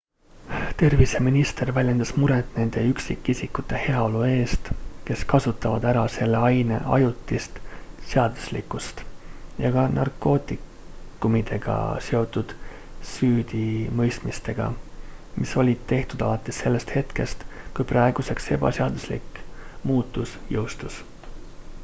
terviseminister väljendas muret nende üksikisikute heaolu eest kes kasutavad ära selle aine ajutist seaduslikkust ja ka narkootikumidega seotud süüdimõistmistega mis olid tehtud alates sellest hetkest kui praeguseks ebaseaduslik muutus jõustus